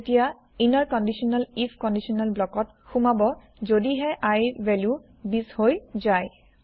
ই তেতিয়া inner conditional if conditional block ত সোমাব যদিহে I ৰ ভেলু ২০ হৈ যাই